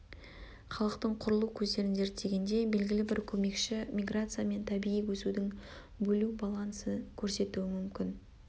халықтың құрылу көздерін зерттегенде белгілі-бір көмекші миграция мен табиғи өсудің бөлу балансы көрсетуі мүмкін